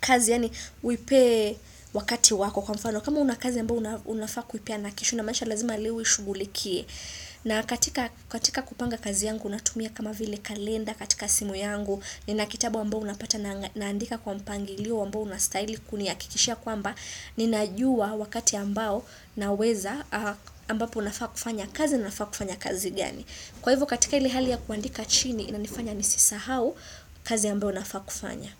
kazi yaani uipe wakati wako. Kwa mfano, kama una kazi ambayo unafaa kuipeana kesho inamaanisha lazima leo uishughulikie. Na katika katika kupanga kazi yangu, unatumia kama vile kalenda katika simu yangu, nina kitabu ambao unapata naandika kwa mpangilio ambao unastahili kunihakikishia kwamba ninajua wakati ambao naweza ambapo nafaa kufanya kazi, nafaa kufanya kazi gani. Kwa hivyo, katika ile hali ya kuandika chini, inanifanya nisisahau kazi ambayo nafaa kufanya.